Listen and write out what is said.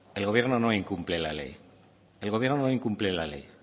el gobierno no incumple la ley el gobierno no incumple la ley